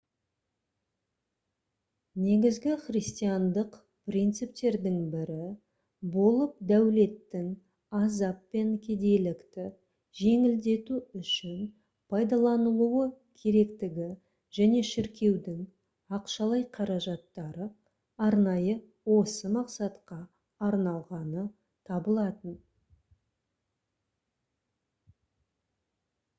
негізгі христиандық принциптердің бірі болып дәулеттің азап пен кедейлікті жеңілдету үшін пайдаланылуы керектігі және шіркеудің ақшалай қаражаттары арнайы осы мақсатқа арналғаны табылатын